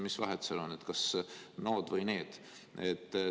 Mis vahet seal on, kas nood või need lapsed.